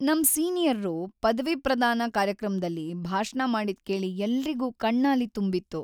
ನಮ್ ಸೀನಿಯರ್ರು ಪದವಿಪ್ರದಾನ ಕಾರ್ಯಕ್ರಮ್ದಲ್ಲಿ ಭಾಷಣ ಮಾಡಿದ್ ಕೇಳಿ ಎಲ್ರಿಗೂ ಕಣ್ಣಾಲಿ ತುಂಬಿತ್ತು.